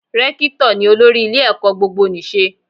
Rékítọ̀ ni olórí ilé ẹ̀kọ́ gbogbonìṣe